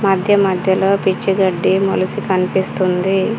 మధ్య మధ్యలో పిచ్చి గడ్డి మొలిసి కన్పిస్తుంది.